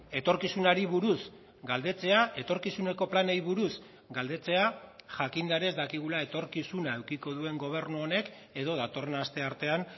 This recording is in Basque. etorkizunari buruz galdetzea etorkizuneko planei buruz galdetzea jakinda ere ez dakigula etorkizuna edukiko duen gobernu honek edo datorren asteartean